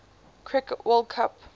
cricket world cup